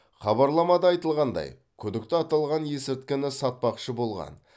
хабарламада айтылғандай күдікті аталған есірткіні сатпақшы болған